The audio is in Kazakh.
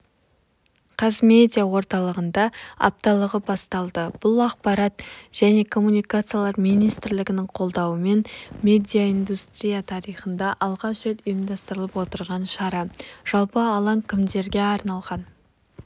қазмедиа орталығында апталығы басталды бұл ақпарат және коммуникациялар министрлігінің қолдауымен медиаиндустрия тарихында алғаш рет ұйымдастырылып отырған шара жалпы алаң кімдерге арналған